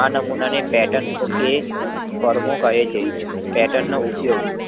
આ નમૂનાને પેર્ટન કે કોડમોં કેહે છે. પેર્ટન નો ઉપયોગ